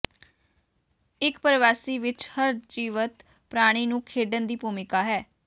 ਇਕ ਪ੍ਰਵਾਸੀ ਵਿਚ ਹਰ ਜੀਵਤ ਪ੍ਰਾਣੀ ਨੂੰ ਖੇਡਣ ਦੀ ਭੂਮਿਕਾ ਹੈ